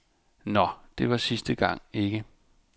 Nå, det var sidste gang, ikke.